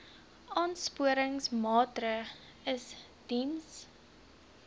aansporingsmaatre ls diens